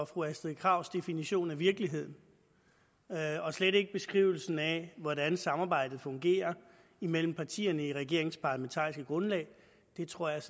fru astrid krags definition af virkeligheden og slet ikke beskrivelsen af hvordan samarbejdet fungerer imellem partierne i regeringens parlamentariske grundlag det tror jeg